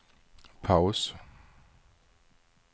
paus